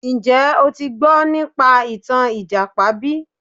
Njẹ́ o ti gbọ́ nípa ìtàn ìjàpá bí?